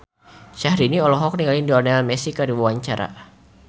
Syahrini olohok ningali Lionel Messi keur diwawancara